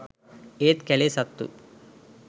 ඒත් කැලේ සත්තු